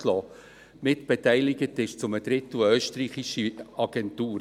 Mitbeteiligt ist zu einem Drittel eine österreichische Agentur.